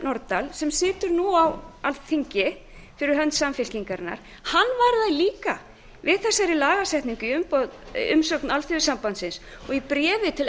nordal sem situr nú á alþingi fyrir hönd samfylkingarinnar varar líka við þessari lagasetningu í umsögn alþýðusambandsins og í bréfi til